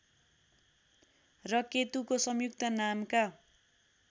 र केतुको संयुक्त नामका